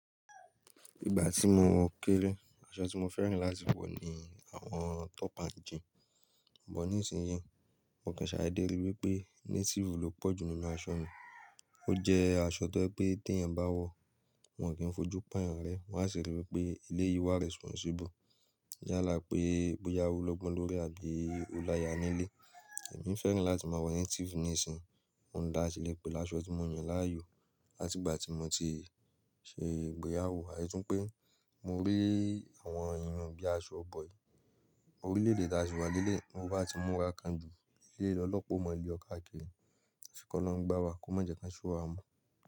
Ìgbà tí mo kéré, aṣọ tí mo fẹ́ràn láti wọ̀ ni àwọn tóp and jean Ṣùgbọ́n nísinsìnyí, mo kan ṣàídéde rí wipé native ló pọ̀jù nínú aṣọ mi. Ó jẹ́ aṣọ tó ẹ pé tí ẹ̀yin bá wọ̀, wọn kì í fojú pa èèyàn rẹ. Wọ́n á sì rí i wípé elé yìí wà responsible. Yálà pé boya o lọ́gbọ́n lórí àbí olaya nílé. Èmi fẹ́ràn láti máa wọ native nísinsìnyí. Oun ń dá á síle pẹ̀ laṣọ tí mo yàn láàyò láti ìgbà tí mo ti ṣe ìgbéyàwó. Àti tun pé mo rí àwọn irun bíi aṣọ bọ̀yìí, orílẹ̀-èdè tí a sì wà lé lẹ̀yii, tọ bá ti múra kan ju, ni ọlọ́pa ọ mọ le ọ̀ kàa kiri Ṣé ni ki olorun gbá wa kò ma jẹ́ kí o ṣúwà o.